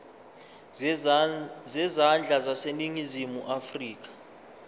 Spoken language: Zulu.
zezandla zaseningizimu afrika